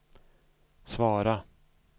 svara